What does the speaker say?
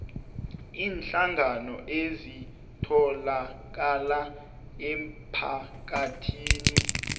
iinhlangano ezitholakala emphakathini